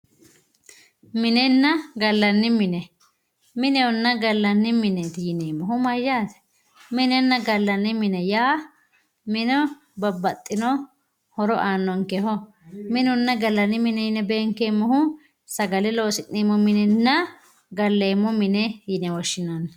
minenna gallanni mine, minehonna gallanni mine yaa mayyaate? minenna gallanni mine yinannihu babbaxino horo aannonkeho, minenna gallanni mine yine beenkeemmohu sagale loosi'neemmo minenna galleemmo mine yine woshshinanni.